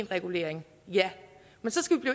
regulering ja men så skal vi